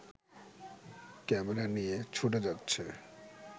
camera নিয়ে ছুটে যাচ্ছে